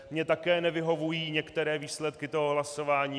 Mně také nevyhovují některé výsledky toho hlasování.